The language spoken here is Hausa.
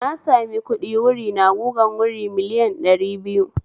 Na sami kuɗi wuri na gugan wuri miliyan ɗari biyu